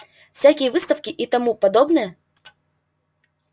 всякие выставки и тому подобное